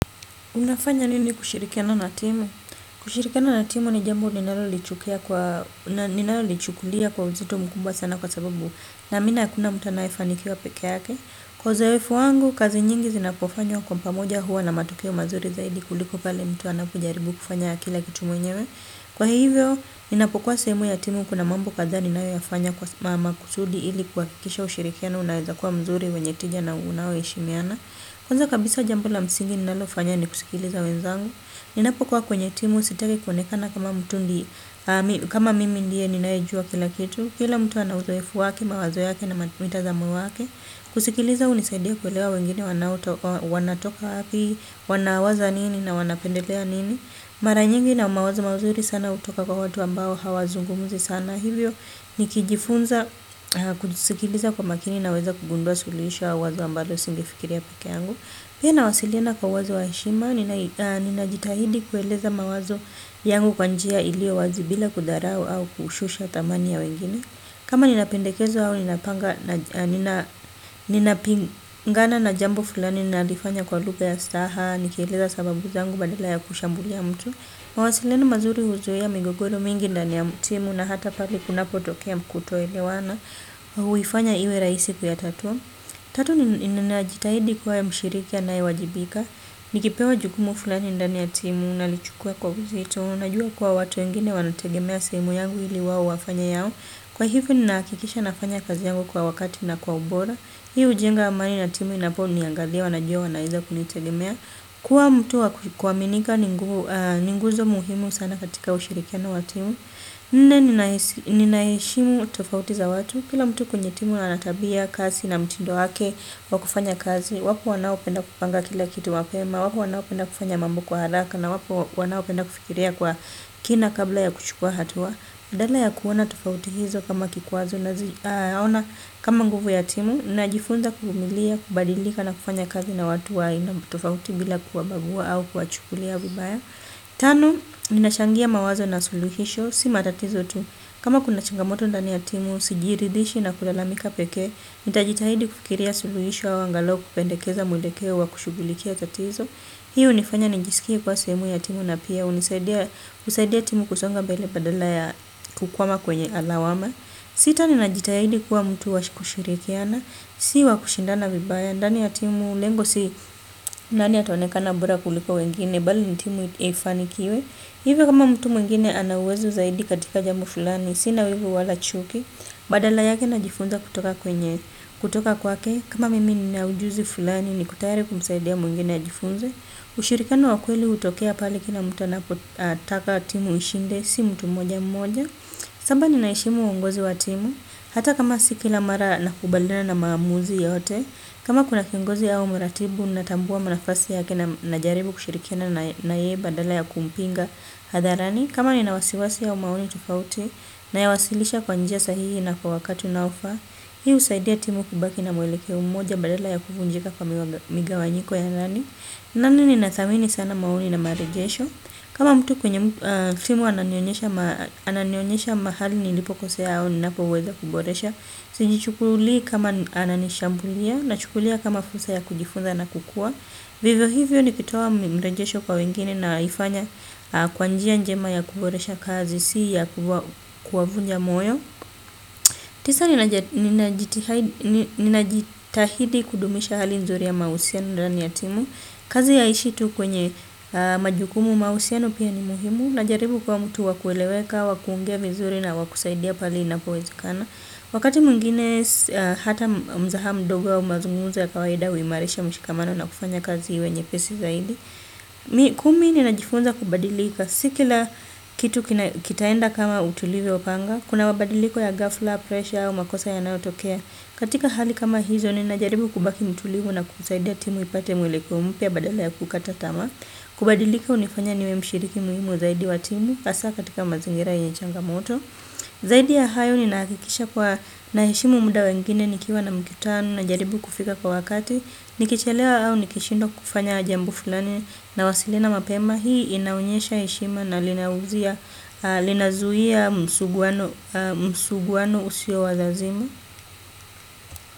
Unafanya nini kushirikiana na timu? Kushirikiana na timu ni jambo ninalolichukulia kwa uzito mkubwa sana kwa sababu naamini hakuna mtu anayefanikiwa pekee yake. Kwa uzoefu wangu, kazi nyingi zinapofanywa kwa pamoja huwa na matokeo mazuri zaidi kuliko pale mtu anapojaribu kufanya kila kitu mwenyewe. Kwa hivyo, ninapokuwa sehemu ya timu kuna mambo kadhaa ninayoyafanya maksudi ili kuhakikisha ushirikiano unaeza kuwa mzuri wenye tija na unaoheshimiana. Kwanza kabisa jambo la msingi ninalofanya ni kusikiliza wenzangu. Ninapokuwa kwenye timu sitaki kuonekana kama mtu ndi, kama mimi ndiye ninayejua kila kitu. Kila mtu ana uzoefu wake, mawazo yake na mitazamo wake. Kusikiliza hunisaidia kuelewa wengine wanatoka wapi, wanawaza nini na wanapendelea nini. Mara nyingi ile mawazo mazuri sana hutoka kwa watu ambao hawazungumzi sana. Na hivyo nikijifunza kujisikiliza kwa makini naweza kugundua suluhisho au wazo ambalo singefikiria pekee yangu. Pia nawasiliana kwa wazo la heshima, ninajitahidi kueleza mawazo yangu kwa njia iliyo wazi bila kudharau au kushusha thamani ya wengine. Kama ninapendekezwa au ninapingana na jambo fulani nalifanya kwa lugha ya staha, nikieleza sababu zangu badala ya kushambulia mtu. Mawasiliano mazuri huzuia migogoro mingi ndani ya timu na hata pale kunapotokea kutoelewana. Huifanya iwe rahisi kuyatatua. Tatu ninajitahidi kuwa mshiriki anayewajibika. Nikipewa jukumu fulani ndani ya timu nalichukua kwa uzito. Najua kuwa watu wengine wanategemea sehemu yangu ili wao wafanye yao. Kwa hivyo ninahakikisha nafanya kazi yangu kwa wakati na kwa ubora. Hii hujenga amani na timu inaponiangalia wanajua wanaeza kunitegemea. Kuwa mtu wa kwaminika ni nguzo muhimu sana katika ushirikiano wa timu. Nne. Ninaheshimu tofauti za watu. Kila mtu kwenye timu ana tabia kasi na mtindo wake wa kufanya kazi, wapo wanaopenda kupanga kila kitu mapema, wapo wanaopenda kufanya mambo kwa haraka, na wapo wanaopenda kufikiria kwa kina kabla ya kuchukua hatua. Badala ya kuona tofauti hizo kama kikwazo naziona kama nguvu ya timu najifunza kuvumilia kubadalika na kufanya kazi na watu wa aina tofauti bila kuwabagua au kuwachukulia vibaya. Tano, ninachangia mawazo na suluhisho. Si matatizo tu, kama kuna changamoto ndani ya timu, sijiridhishi na kulalamika pekee. Nitajitahidi kufikiria suluhisho au angalau, kupendekeza mwelekeo wa kushughulikia tatizo. Hiyo hunifanya nijisikie kuwa sehemu ya timu na pia husaidia timu kusonga mbele badala ya kukwama kwenye lawama. Sita, ninajitahidi kuwa mtu wa kushirikiana si wa kushindana vibaya ndani ya timu lengo si nani ataonekana bora kuliko wengine bali ni timu ifanikiwe. Hivyo kama mtu mwingine ana uwezo zaidi katika jambo fulani sina wivu wala chuki. Badala yake najifunza kutoka kwenye kutoka kwake. Kama mimi nina ujuzi fulani niko tayari kumsaidia mwingine ajifunze. Ushirikiano wa kweli hutokea pale kila mtu anapotaka timu ishinde si mtu mmoja mmoja. Saba, ninaheshimu uongozi wa timu, hata kama si kila mara nakubaliana na maamuzi yote, kama kuna kiongozi au mratibu, natambua nafasi yake najaribu kushirikiana na yeye badala ya kumpinga hadharani, kama nina wasiwasi au maoni tofauti nayawasilisha kwa njia sahihi na kwa wakati unaofaa, hii husaidia timu kubaki na mwelekeo mmoja badala ya kuvunjika kwa migawanyiko ya nani. Nane, ninathamini sana maoni na marejesho. Kama mtu kwenye timu ananionyesha mahali nilipokosea au ninapoweza kuboresha. Sijichukulii kama ananishambulia nachukulia kama fursa ya kujifunza na kukua. Vivo hivyo nikitoa mrejesho kwa wengine naifanya kwa njia njema ya kuboresha kazi si ya kuwavunja moyo. Tisa, ninajitahidi kudumisha hali nzuri ya mahusiano ndani ya timu. Kazi haiishi tu kwenye majukumu mahusiano pia ni muhimu. Najaribu kuwa mtu wa kueleweka, wa kuongea vizuri na wa kusaidia pale inapowezekana. Wakati mwingine hata mzaha mdogo au mazungumzo ya kawaida huimarisha mshikamano na kufanya kazi iwe nyepesi zaidi. Kumi, ninajifunza kubadilika. Si kila kitu kitaenda kama tulivyo panga. Kuna mabadiliko ya ghafla, presha au makosa yanayotokea. Katika hali kama hizo ninajaribu kubaki mtulivu na kusaidia timu ipate mwelekeo mpya badala ya kukata tamaa. Kubadilika hunifanya niwe mshiriki muhimu zaidi wa timu. Hasa katika mazingira yenye inaishanga moto. Zaidi ya hayo ninahakikisha kuwa naheshimu muda wa wengine nikiwa na mkutano najaribu kufika kwa wakati. Nikichelewa au nikishindwa kufanya jambo fulani nawasilina mapema. Hii inaonyesha heshima na linazuia msuguano msuguwano usio wa lazimu.